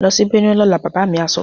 Lọ sí Benue lọ́la! Bàbá mi á sọ.